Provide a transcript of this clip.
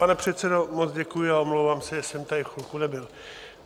Pane předsedo, moc děkuji a omlouvám se, že jsem tady chvilku nebyl.